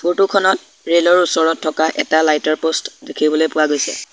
Photo খনত rail ৰ ওচৰত থকা এটা লাইট ৰ প'ষ্ট দেখিবলৈ পোৱা গৈছে।